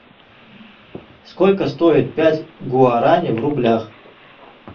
сколько стоит пять гуарани в рублях